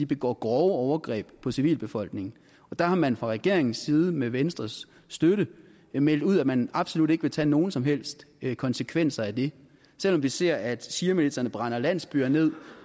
begår grove overgreb på civilbefolkningen der har man fra regeringens side med venstres støtte meldt ud at man absolut ikke vil tage nogen som helst konsekvenser af det selv om vi ser at shiamilitserne brænder landsbyer ned